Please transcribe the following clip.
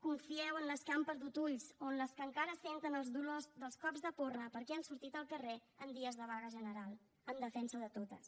confieu en les que han perdut ulls o en les que encara senten els dolors dels cops de porra perquè han sortit al carrer en dies de vaga general en defensa de totes